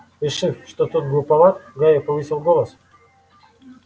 решив что тот глуховат гарри повысил голос